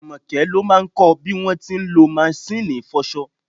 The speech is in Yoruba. Àmọ́kẹ́ ló máà kọ bí wọ́n ti ń lọ maṣíìnì ìfọṣọ.